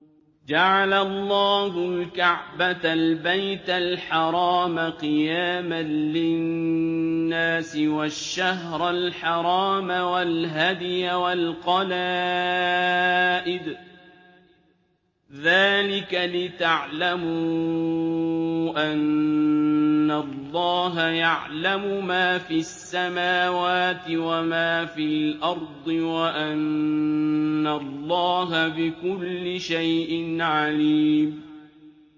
۞ جَعَلَ اللَّهُ الْكَعْبَةَ الْبَيْتَ الْحَرَامَ قِيَامًا لِّلنَّاسِ وَالشَّهْرَ الْحَرَامَ وَالْهَدْيَ وَالْقَلَائِدَ ۚ ذَٰلِكَ لِتَعْلَمُوا أَنَّ اللَّهَ يَعْلَمُ مَا فِي السَّمَاوَاتِ وَمَا فِي الْأَرْضِ وَأَنَّ اللَّهَ بِكُلِّ شَيْءٍ عَلِيمٌ